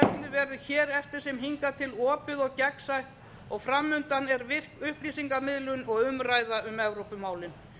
verður hér eftir sem hingað til opið og gegnsætt og fram undan er virk upplýsingamiðlun og umræða um evrópumálin